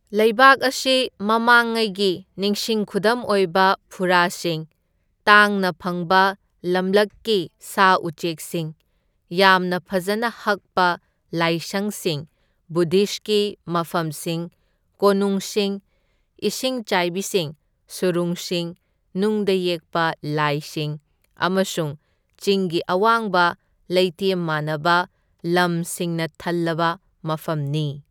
ꯂꯩꯕꯥꯛ ꯑꯁꯤ ꯃꯃꯥꯡꯉꯩꯒꯤ ꯅꯤꯡꯁꯤꯡ ꯈꯨꯗꯝ ꯑꯣꯏꯕ ꯐꯨꯔꯥꯁꯤꯡ, ꯇꯥꯡꯅ ꯐꯪꯕ ꯂꯝꯂꯛꯀꯤ ꯁꯥ ꯎꯆꯦꯛꯁꯤꯡ, ꯌꯥꯝꯅ ꯐꯖꯅ ꯍꯛꯄ ꯂꯥꯏꯁꯪꯁꯤꯡ, ꯕꯨꯗꯙꯤꯁꯀꯤ ꯃꯐꯝꯁꯤꯡ, ꯀꯣꯅꯨꯡꯁꯤꯡ, ꯏꯁꯤꯡ ꯆꯥꯏꯕꯤꯁꯤꯡ, ꯁꯨꯔꯨꯡꯁꯤꯡ, ꯅꯨꯡꯗ ꯌꯦꯛꯄ ꯂꯥꯏꯁꯤꯡ ꯑꯃꯁꯨꯡ ꯆꯤꯡꯒꯤ ꯑꯋꯥꯡꯕ ꯂꯩꯇꯦꯝ ꯃꯥꯟꯅꯕ ꯂꯝꯁꯤꯡꯅ ꯊꯜꯂꯕ ꯃꯐꯝꯅꯤ꯫